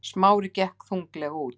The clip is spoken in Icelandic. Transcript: Smári gekk þunglega út.